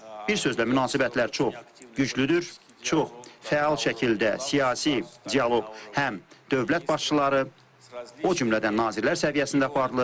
Bir sözlə münasibətlər çox güclüdür, çox fəal şəkildə siyasi dialoq həm dövlət başçıları, o cümlədən nazirlər səviyyəsində aparılır.